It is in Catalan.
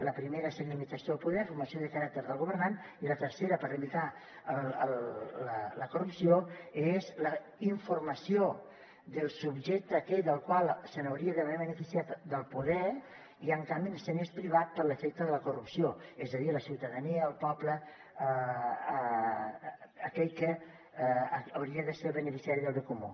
la primera seria limitació del poder formació de caràcter del governant i la tercera per limitar la corrupció és la informació del subjecte aquell que s’hauria d’haver beneficiat del poder i en canvi és privat per l’efecte de la corrupció és a dir la ciutadania el poble aquell que hauria de ser el beneficiari del bé comú